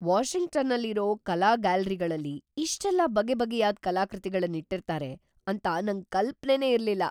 ವಾಷಿಂಗ್ಟನ್ನಲ್ಲಿರೋ ಕಲಾ ಗ್ಯಾಲರಿಗಳಲ್ಲಿ ಇಷ್ಟೆಲ್ಲ ಬಗೆಬಗೆಯಾದ್‌ ಕಲಾಕೃತಿಗಳ್ನಿಟ್ಟಿರ್ತಾರೆ ಅಂತ ನಂಗ್‌ ಕಲ್ಪನೆನೇ ಇರ್ಲಿಲ್ಲ.